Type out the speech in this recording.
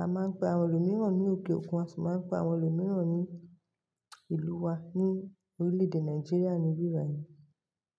A máa ń pe àwọn ẹlòmíràn ní òkè òkun, a sì máa ń pe àwọn ẹlòmíràn ní ìlú wa ní orílẹ̀-èdè Nàìjíríà níbibàí.